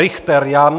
Richter Jan